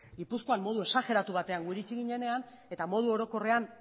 gipuzkoan modu exajeratu batean gu iritsi ginenean eta modu orokorrean